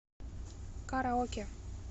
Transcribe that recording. караоке